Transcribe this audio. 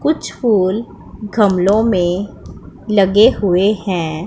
कुछ फूल गमल में लगे हुए हैं।